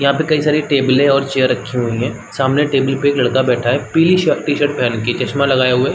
यहाँ पर कई सारी टेबले और चेयर रखी हुई है सामने टेबल पर एक लड़का बैठा है पिली शर्ट टी_शर्ट पहन के चस्मा लगाया हुआ है ।